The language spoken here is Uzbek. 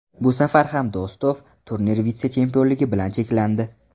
Bu safar ham Do‘stov turnir vitse-chempionligi bilan cheklandi.